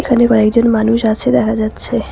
কয়েকজন মানুষ আছে দেখা যাচ্ছে।